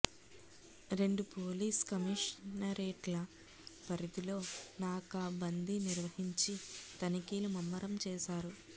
రెండు పోలీస్ కమిషనరేట్ల పరిధిలో నాకా బందీ నిర్వహించి తనిఖీలు ముమ్మరం చేశారు